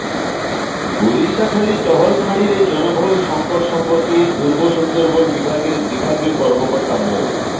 গুলিশাখালী টহল ফাঁড়ির এই জনবল সংকট সম্পর্কে পূর্ব সুন্দরবন বিভাগের বিভাগীয় কর্মকর্তা মো